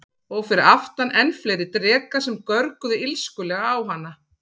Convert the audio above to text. Og fyrir aftan enn fleiri drekar sem görguðu illskulega á hana.